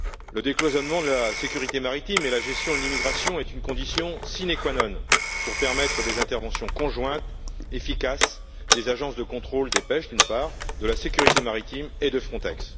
Le décloisonnement de la sécurité maritime et de la gestion de l'immigration est une condition sine qua non pour permettre des interventions conjointes efficaces des agences de contrôle des pêches, de la sécurité maritime et de Frontex.